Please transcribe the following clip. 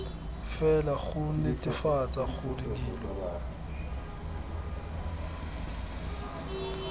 fela go netefatsa gore dilo